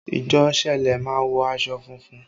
Ìjọ sẹlẹ má ń wọ aṣọ funfun